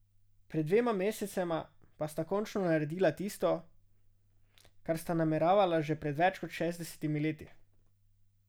Pred dvema mesecema pa sta končno naredila tisto, kar sta nameravala že pred več kot šestdesetimi leti.